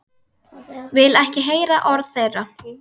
Vil ekki heyra orð þeirra.